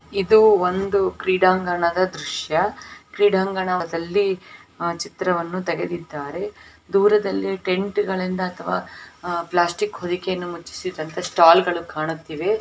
ಇದು ಒಂದು ಕ್ರೀಡಾಂಗಣದ ದೃಶ್ಯ ಕ್ರೀಡಾಂಗಣದ ದಲ್ಲಿ ಆ ಚಿತ್ರವನ್ನು ತೆಗೆದಿದ್ದಾರೆ ದೂರದಲ್ಲಿ ಟೆಂಟ್ ಗಳಿಂದ ಅಥವಾ ಪ್ಲಾಸ್ಟಿಕ್ ಹೋರೇಕೆ ಯನ್ನು ಮುಚ್ಚಿಸು ವಂತ ಸ್ಟಾಲ್ ಗಳು ಕೂಡ ಹಾಗಿರಬಹುದು ೧ ಹಾಗಾಗಿ ಇವು ಟೆಂಪೆರೋರಅರಿ ಸ್ಟಾಲ್ ಕೂಡ ಆಗಿರಬಹುದು ಇಲ್ಲಿ ಯಾರೋ ಒಬ್ಬ ವ್ಯಕ್ತಿ ನಿಂತಿದ್ದಾನೆ.